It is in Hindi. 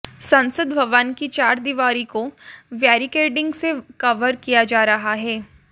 संसद भवन की चारदीवारी को बैरिकेडिंग से कवर किया जा रहा है